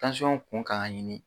Tansiyɔn kun kan ka ɲini,